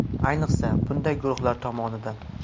Ayniqsa bunday guruhlar tomonidan.